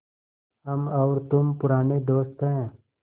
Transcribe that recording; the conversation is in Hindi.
हम और तुम पुराने दोस्त हैं